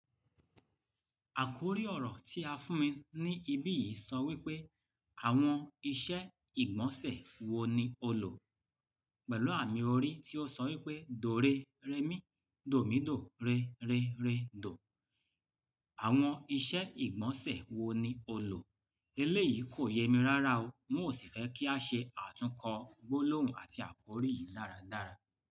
Àkórí ọ̀rọ̀ tí a fún mi ní ibí yìí sọ wípé: "Àwọn iṣẹ́ ìgbọ̀nsẹ̀ wo ni o lò?" Pẹ̀lú àmì orí tí ó sọ wípé "dòrérémi dòmídò rere rédò". Àwọn iṣẹ́ ìgbọ̀nsẹ̀ wo ni o lò? Eléyìí kò yẹ mí rárá o, n ó sì fẹ́ kí a ṣe àtúnkọ gbólóhùn àti àkórí yìí dáradára.